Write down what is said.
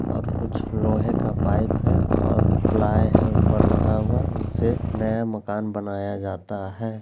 और कुछ लोहे का पाइप है और प्लाइ है ऊपर लगा हुआ जिससे नया मकान बनाया जाता है।